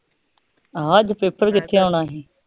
ਹਾਂ ਅੱਜ ਪੇਪਰ ਕਿਥੇ ਆਉਣਾ ਸੀ